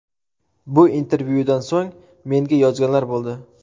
Bu intervyudan so‘ng menga yozganlar bo‘ldi.